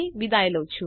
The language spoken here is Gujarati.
જોડાવા બદ્દલ આભાર